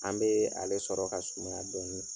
An bɛ ale sɔrɔ ka sumaya dɔɔni.